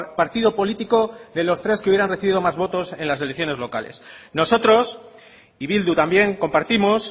partido político de los tres que hubieran recibido más votos en las elecciones locales nosotros y bildu también compartimos